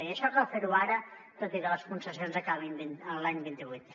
i això cal fer ho ara tot i que les concessions acabin l’any vint vuit